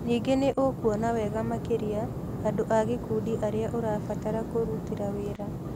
Ningĩ nĩ ũkuona wega makĩria andũ a gĩkundi arĩa ũrabatara kũrutĩra wĩra.